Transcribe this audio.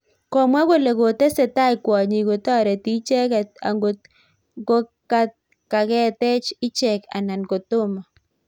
Komwa kole kotesetai kwonyik kotoreti ichecket angot ngokaketach icheek anan kotoma.